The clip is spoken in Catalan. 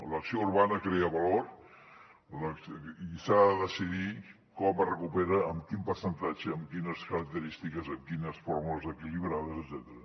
l’acció urbana crea valor i s’ha de decidir com es recupera amb quin percentatge amb quines característiques amb quines fórmules equilibrades etcètera